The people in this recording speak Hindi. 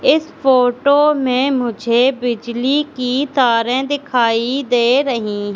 इस फोटो में मुझे बिजली की तारे दिखाई दे रही--